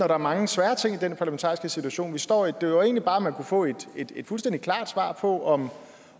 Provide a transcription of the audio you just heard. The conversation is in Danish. er mange svære ting i den parlamentariske situation vi står i det var jo egentlig bare om man kunne få et fuldstændig klart svar på om